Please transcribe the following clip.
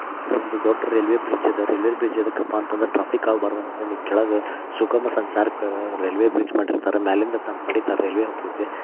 ಇದೊಂದ್ ದೊಡ್ಡ ರೈಲ್ವೆ ಬ್ರಿಜ್ದ ರೈಲ್ವೆ ಬ್ರಿಡ್ಜ್ ಯಾದಕ್ಕಪ್ಪ ಅಂದ್ರ ಟ್ರಾಫಿಕ್ಜಾಮ್ ಆಗ್ಬರದಂತ ಕೆಳಗ ಸುಗಮ ಸಂಚಾರಕ್ಕೆ ರೈಲ್ವೆ ಬ್ರಿಜ್ ಮಾಡಿರ್ತಾರ್ರ ಮ್ಯಾಲಿಂದ ತನ್ ಪಾಡಿತಾನ್ ರೈಲ್ವೆ ಹೋಗತೈತಿ.